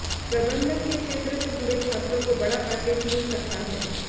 प्रबंधन के क्षेत्र से जुड़े छात्रों को बड़ा पैकेज मिल सकता है